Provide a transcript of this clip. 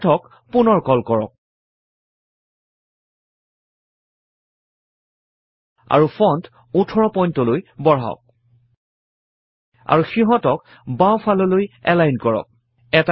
Math ক পুনৰ কল কৰক আৰু ফন্ট 18 point লৈ বঢ়াওক আৰু সিহঁতক বাওঁফাললৈ এলাইন কৰক